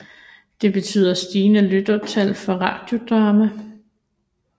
Det betyder stigende lyttertal for Radiodrama